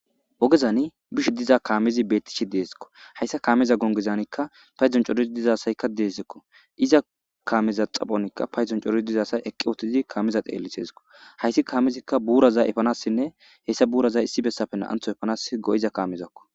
Ogezani bishshe diza kamezi deskko hayissa kameza gongezan corid diza asyikka des kameza xaphonkka paydon cora asi kameza xelishesikko hayss kamezikka buraza efanasinne haysa buraza issi besappe na'anththo efanas go"iza kamezakko